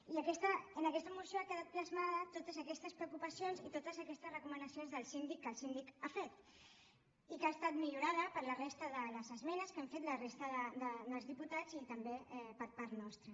i en aquesta moció han quedat plasmades totes aquestes preocupacions i totes aquestes recomanacions del síndic que el síndic ha fet i que ha estat millorada per la resta de les esmenes que han fet la resta dels diputats i també per part nostra